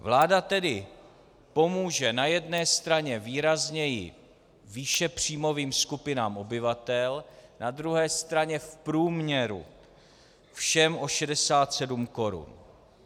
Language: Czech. Vláda tedy pomůže na jedné straně výrazněji výše příjmovým skupinám obyvatel, na druhé straně v průměru všem o 67 korun.